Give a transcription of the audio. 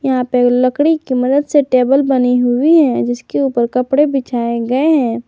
यहां पे लकड़ी की मदद से टेबल बनी हुई है जिस के ऊपर कपड़े बिछाए गए हैं।